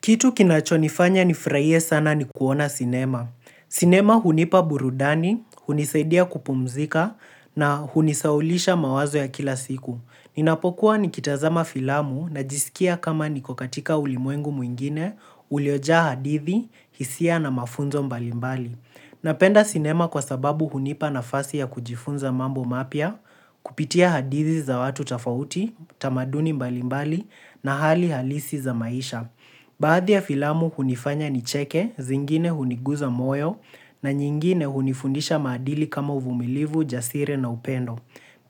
Kitu kinachonifanya nifurahie sana ni kuona sinema. Sinema hunipa burudani, hunisaidia kupumzika na hunisahulisha mawazo ya kila siku. Ninapokuwa nikitazama filamu najisikia kama niko katika ulimwengu mwingine, uliojaa hadithi, hisia na mafunzo mbalimbali. Napenda sinema kwa sababu hunipa nafasi ya kujifunza mambo mapya, kupitia hadithi za watu tofauti, tamaduni mbalimbali na hali halisi za maisha. Baadhi ya filamu hunifanya nicheke, zingine huniguza moyo na nyingine hunifundisha maadili kama uvumilivu, ujasiri na upendo.